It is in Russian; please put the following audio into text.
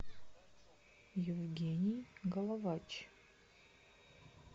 евгений головач